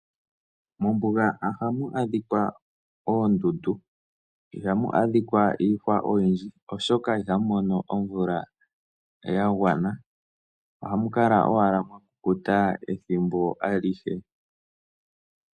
Mombuga ohamu adhika oondundu ihamu adhika iihwa oyindji oshoka ihamu mono omvula yagwana ohamu kala owala mwakukuta ethimbo alihe.